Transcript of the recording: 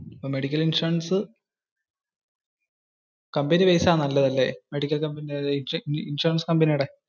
Medical insurance company base ആണ് നല്ലതു അല്ലെ? ഇൻഷുറൻസ് കമ്പനിയുടെ.